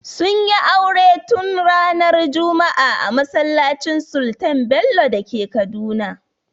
Sunyi aure tun ranar juma'a a masallacin sultan bello dake Kaduna